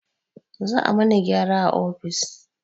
Za a mana gyara a ofis